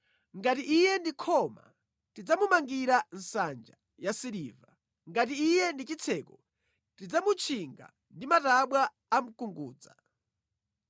Ngati iye ndi khoma, tidzamumangira nsanja ya siliva. Ngati iye ndi chitseko, tidzamutchinga ndi matabwa a mkungudza.